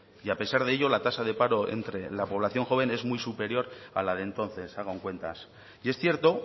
y a pesar de ello la tasa de paro entre la población joven es muy superior a la de entonces hagan cuentas y es cierto